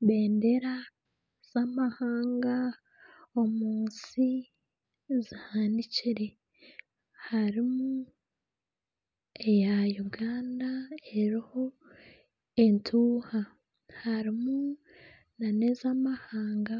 Ebendera z'amahanga omu nsi zihanikire harimu eya Uganda eriho entuuha harimu nana ez'amahanga